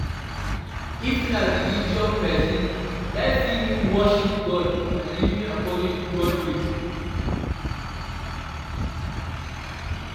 If na religious person, life fit mean worshiping God and living according to God's will